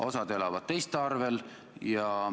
Osa elab teiste arvel.